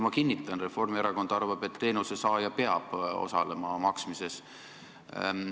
Ma kinnitan: Reformierakond arvab, et teenusesaaja peab osalema maksmises.